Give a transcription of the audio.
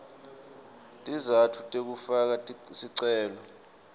tizatfu tekufaka sicelo